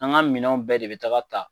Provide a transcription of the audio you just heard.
An ka minɛnw bɛɛ de bɛ taga tan